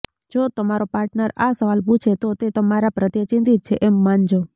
જો તમારો પાર્ટનર આ સવાલ પુછે તો તે તમારા પ્રત્યે ચિંતીત છે એમ માનજો